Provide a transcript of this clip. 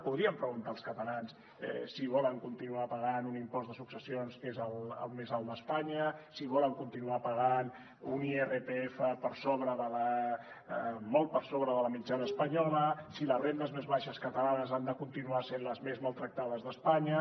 podrien preguntar als catalans si volen continuar pagant un impost de successions que és el més alt d’espanya si volen continuar pagant un irpf molt per sobre de la mitjana espanyola si les rendes més baixes catalanes han de continuar sent les més maltractades d’espanya